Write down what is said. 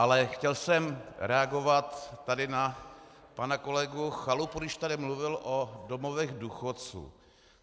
Ale chtěl jsem reagovat tady na pana kolegu Chalupu, když tady mluvil o domovech důchodců.